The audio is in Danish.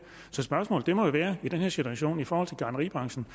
så spørgsmålet i den her situation i forhold til gartneriebranchen